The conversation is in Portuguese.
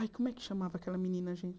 Ai, como é que chamava aquela menina, gente?